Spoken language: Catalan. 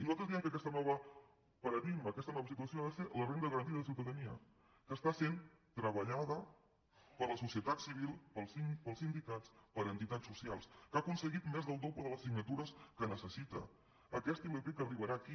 nosaltres diem que aquest nou paradigma aquesta nova situació ha de ser la renda garantida de ciutadania que és treballada per la societat civil pels sindicats per entitats socials que ha aconseguit més del doble de les signatures que necessita aquesta ilp que arribarà aquí